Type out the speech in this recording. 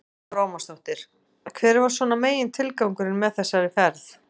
Lára Ómarsdóttir: Hver var svona megintilgangurinn með þessari ferð?